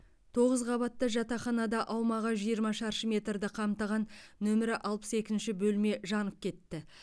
тоғыз қабатты жатақханада аумағы жиырма шаршы метрді қамтыған нөмірі алпыс екінші бөлме жанып кетті